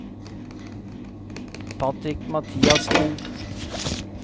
Patrick Mathiassen